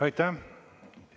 Aitäh!